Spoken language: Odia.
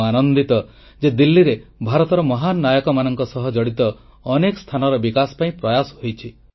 ମୁଁ ଆନନ୍ଦିତ ଯେ ଦିଲ୍ଲୀରେ ଭାରତର ମହାନ ନାୟକମାନଙ୍କ ସହ ଜଡ଼ିତ ଅନେକ ସ୍ଥାନର ବିକାଶ ପାଇଁ ପ୍ରୟାସ ହୋଇଛି